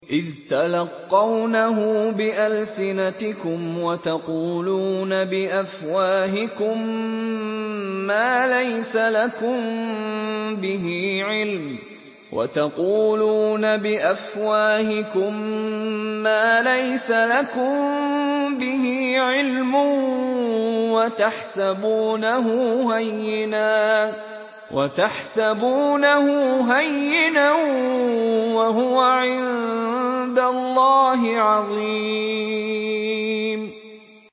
إِذْ تَلَقَّوْنَهُ بِأَلْسِنَتِكُمْ وَتَقُولُونَ بِأَفْوَاهِكُم مَّا لَيْسَ لَكُم بِهِ عِلْمٌ وَتَحْسَبُونَهُ هَيِّنًا وَهُوَ عِندَ اللَّهِ عَظِيمٌ